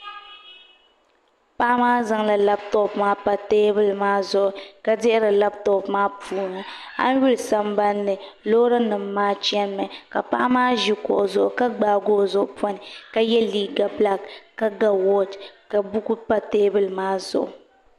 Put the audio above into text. Paɣa maa zaŋla labtop maa pa teebuli maa zuɣu ka dihiri labtop maa puuni a yi lihi sambanni loori nim maa chɛnimi ka paɣa maa ʒi kuɣu zuɣu ka gbaagi o zuɣu poni ka yɛ liiga bilaak ka ga wooch ka buku pa teebuli maa zuɣu